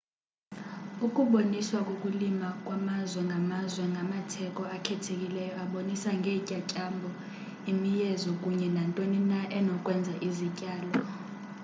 ukuboniswa kokulima kwamazwe ngamazwe ngamatheko akhethekileyo abonisa ngeentyatyambo imiyezo kunye nantoni na enokwenza izityalo